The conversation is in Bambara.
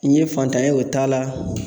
N ye fantan ye o t'a la